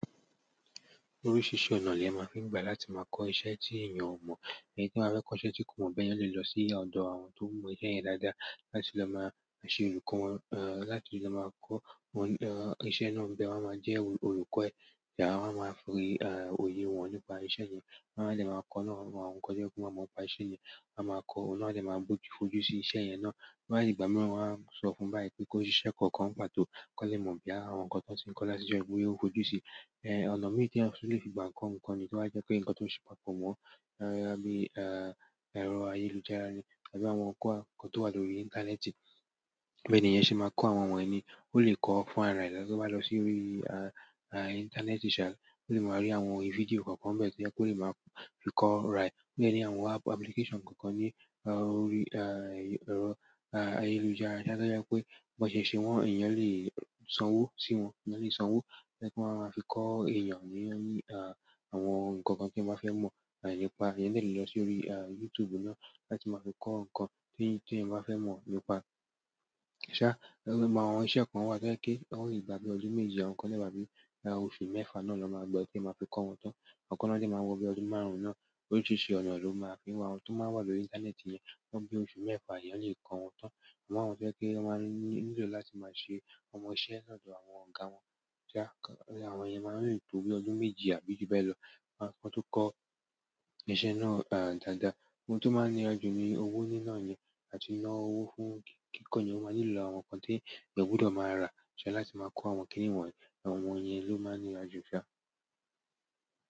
Oríṣìíríṣìí ọ̀nà lèèyàn máa fi ń gbà láti máa kọ́ iṣẹ́ tí èèyàn ò mọ̀. Ẹni tí a fẹ́ kọ́ iṣẹ́ tí kò mọ̀ bẹ́ẹ̀ yóò lè lọ sí ọ̀dọ̀ àwọn tó mọ iṣẹ́ yẹn dáadáa láti lọ máa ṣe olùkọ́ wọn, ẹ̀, láti lọ máa kọ́ wọn, ẹ̀, iṣẹ́ náà bẹ́ẹ̀ wọ́n a máa jẹ́ olùkọ́ ẹ yà wọ́n a máa fi oyè wọn nípa iṣẹ́ yẹn. Wọ́n a lè máa kọ́ náà mọ́ àwọn nǹkan tí ń fún wa mọ̀ nípa iṣẹ́ yẹn. Wọ́n á máa kọ́ ọ, òun náà áá dẹ̀ máa fojú sí iṣẹ́ yẹn náà. Tó bá dìgbà mìíràn wọ́n á sọ fún báyìí pé kó ṣiṣẹ́ kọ̀ọ̀kan ń pàtó k'ọ́n lè mọ̀ bóyá àwọn nǹkan tó ti ń kọ́ látijọ́ yìí bóyá ó fojú síi, ẹ́, ọ̀nà míì tí ẹ sì lè fi gbà ń kọ́ nǹkan ni tí wọ́n á jẹ́ kí ǹkan tó ń ṣe pàtó mọ́ ẹ bí i, ẹ́, ẹ̀rọ ayélujára ni tàbí àwọn nǹkan tó wà lórí. Íńtánẹ́ẹ̀tì. Bẹ́ẹ̀ ni èèyàn ṣe máa kọ́ àwọn wọnnì. Ó lè kọ́ fún ara rẹ̀ lọ bá lọ sí orí, ẹ́, íńtánẹ́ẹ̀tì ṣà láti máa rí àwọn orí fídíò kọ̀ọ̀kan bẹ́ẹ̀ tí ẹ́ kó lè máa fi kọ́ ra ẹ̀. Ó jẹ́ ní àwọn apúlíkẹ́ṣọ̀n kọ̀ọ̀kan ní, ẹ́, orí, ẹ́, ẹ̀rọ, ẹ́, ayélujára tí a tó jẹ́ pé bọ̀sẹ̀sẹ̀ wọn èèyàn lè sanwó sí wọn. Ẹ̀yàn lè sanwó kí wọ́n máa fi kọ́ èèyàn ní, ẹ́, àwọn nǹkan kan tí wọ́n bá fẹ́ mọ̀ nípa. Ẹni tí lè lọ sórí, ẹ́, YouTube náà láti máa fi kọ́ nǹkan tí èèyàn bá fẹ́ mọ̀ nípa. Ṣá, àwọn iṣẹ́ kan wà tí ẹ́ kó lè gba bíi ọdún méje àwọn nǹkan tí ẹ́ gba bíi oṣù mẹ́fa náà ló máa gba ẹ́ tí ẹ máa fi kọ́ wọn tán. Àwọn kan náà dẹ̀ máa ń wọ bíi ọdún márùn-ún náà. Oríṣìíríṣìí ọ̀nà ló máa ń fi wà. Àwọn tó máa ń wà lórí íńtánẹ́ẹ̀tì yẹn nǹkan bí oṣù mẹ́fa lèèyàn lè kọ́ wọn tán. Àwọn àwọn tó jẹ́ pé wọ́n máa ń nílò láti máa ṣe ọmọ iṣẹ́ lọ́dọ̀ àwọn ọ̀gá wọn. Ṣá, àwọn yẹn máa ń lò tó bí ọdún méje àbí ju bẹ́ẹ̀ lọ kí wọ́n tó kọ́ iṣẹ́ náà dáadáa. Ohun tó máa ń nira jù ni owó nínà yẹn, àti ná owó fún kí kọ̀ní wọn máa nílò àwọn nǹkan tí ẹ̀ gbọ́dọ̀ máa rà ṣẹ́ láti máa kọ́ àwọn kíní wọ̀nyí. Àwọn èèyàn ló máa ń níya jù ṣá.